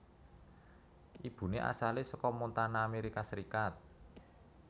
Ibune asale saka Montana Amerika Serikat